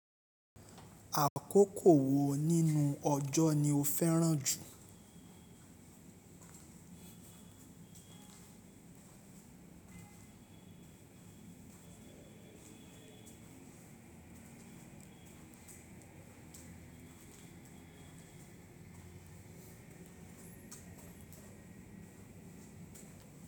Àkókò wo nínú ọjọ́ ni ó fẹ́ràn jù?